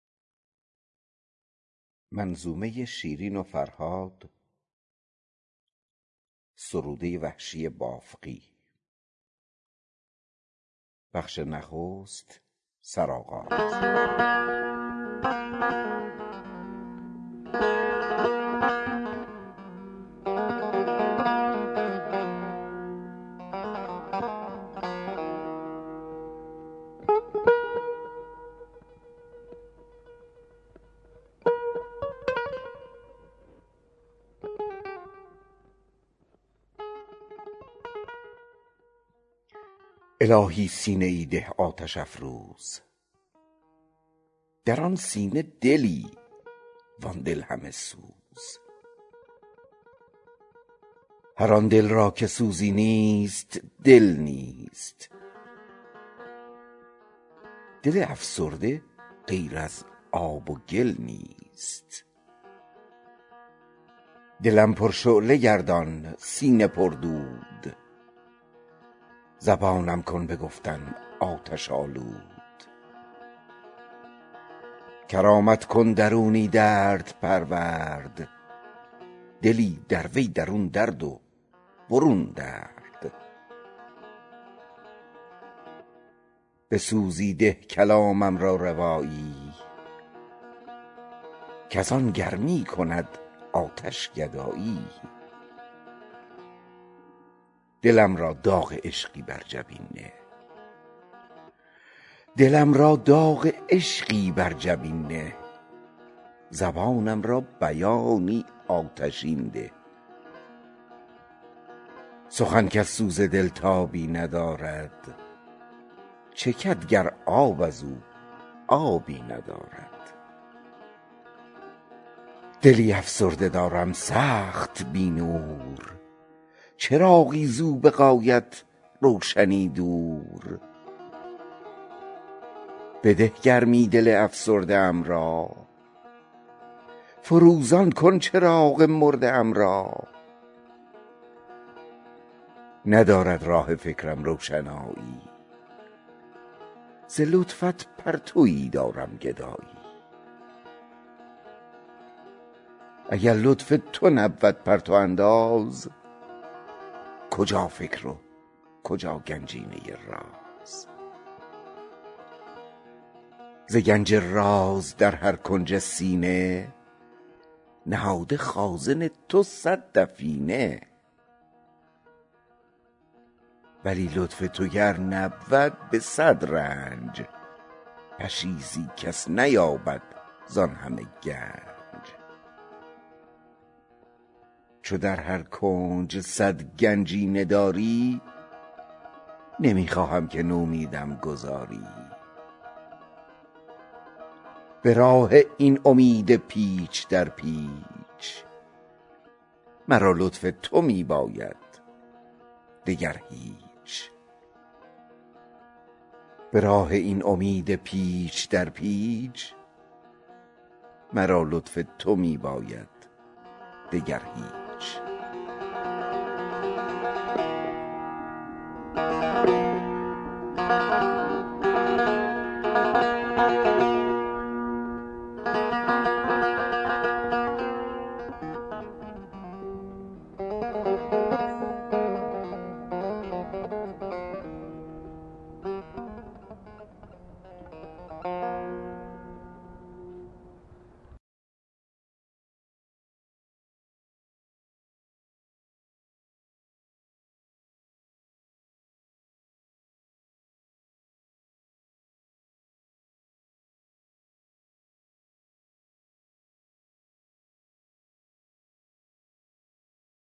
الهی سینه ای ده آتش افروز در آن سینه دلی وان دل همه سوز هر آن دل را که سوزی نیست دل نیست دل افسرده غیر از آب و گل نیست دلم پرشعله گردان سینه پردود زبانم کن به گفتن آتش آلود کرامت کن درونی درد پرورد دلی در وی درون درد و برون درد به سوزی ده کلامم را روایی کز آن گرمی کند آتش گدایی دلم را داغ عشقی بر جبین نه زبانم را بیانی آتشین ده سخن کز سوز دل تابی ندارد چکد گر آب ازو آبی ندارد دلی افسرده دارم سخت بی نور چراغی زو به غایت روشنی دور بده گرمی دل افسرده ام را فروزان کن چراغ مرده ام را ندارد راه فکرم روشنایی ز لطفت پرتویی دارم گدایی اگر لطف تو نبود پرتو انداز کجا فکر و کجا گنجینه راز ز گنج راز در هر کنج سینه نهاده خازن تو صد دفینه ولی لطف تو گر نبود به صد رنج پشیزی کس نیابد زان همه گنج چو در هر کنج صد گنجینه داری نمی خواهم که نومیدم گذاری به راه این امید پیچ در پیچ مرا لطف تو می باید دگر هیچ